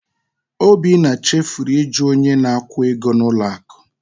Obinna chefuru iju onye na-akwụ ego n'ụlọ akụ.